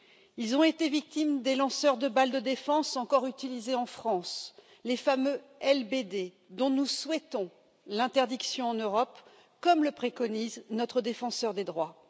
Ils ont été victimes des lanceurs de balles de défense encore utilisés en France, les fameux LBD, dont nous souhaitons l'interdiction en Europe, comme le préconise notre défenseur des droits.